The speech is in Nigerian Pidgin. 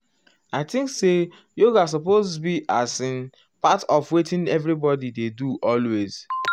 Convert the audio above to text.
i think say yoga supose be as in [um]part of wetin everybodi dey do always.